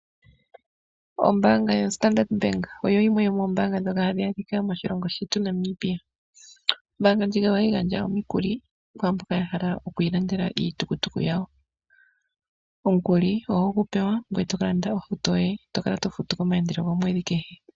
Ombaanga yoStandard oyo yimwe yomoombanga hadhi adhika moshilongo shetu Namibia. Ombaanga ndjika ohayi gandja omikuli kwaamboka yahala okulanda iihauto yawo. Omukuli oho gupewa ngoye tokalanda ohauto yoye tokala tofutu komaandelo gomweedhi.